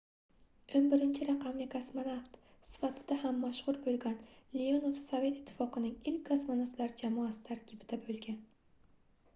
11-raqamli kosmonavt sifatida ham mashhur boʻlgan leonov sovet ittifoqining ilk kosmonavtlar jamoasi tarkibida boʻlgan